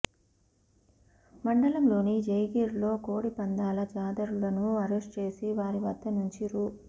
మండలంలోని జయగిరిలో కోడిపందాల జూదరులను అరెస్టు చేసి వారి వద్ద నుంచి రూ